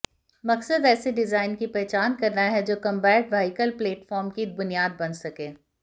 मकसद ऐसे डिजाइन की पहचान करना है जो कंबैट व्हीकल प्लेटफार्म की बुनियाद बन सके